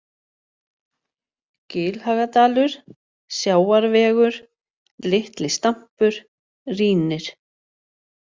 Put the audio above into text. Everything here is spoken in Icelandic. Gilhagadalur, Sjávarvegur, Litli-Stampur, Rínir